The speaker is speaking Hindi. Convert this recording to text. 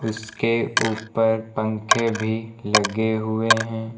उसके ऊपर पंखे भी लगे हुए हैं।